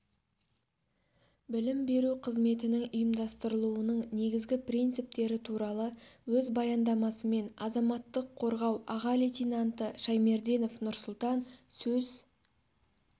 білім беру қызметінің ұйымдастырылуының негізгі принциптері туралы өз баяндамасымен азаматтық қорғау аға лейтенанты шаймерденов нурсултан сөз